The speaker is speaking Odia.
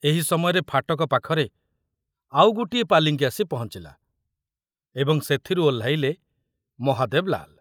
ଏହି ସମୟରେ ଫାଟକ ପାଖରେ ଆଉ ଗୋଟିଏ ପାଲିଙ୍କି ଆସି ପହଞ୍ଚିଲା ଏବଂ ସେଥୁରୁ ଓହ୍ଲାଇଲେ ମହାଦେବ ଲାଲ।